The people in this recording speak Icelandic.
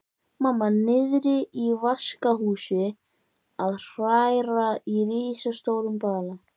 Mamma niðri í vaskahúsi að hræra í risastórum bala.